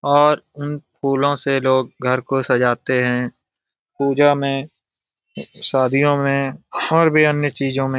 और उन फूलों से लोग घर को सजाते हैं पूजा में शादियों में और भी अन्य चीजों में ।